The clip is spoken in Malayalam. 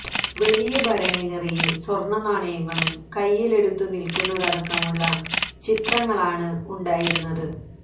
വലിയ ഭരണി നിറയെ സ്വര്ണ നാണയങ്ങളും കൈയില് എടുത്ത് നില്ക്കുന്നതടക്കമുള്ള ചിത്രങ്ങളാണ് ഉണ്ടായിരുന്നത്